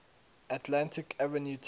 atlantic avenue tunnel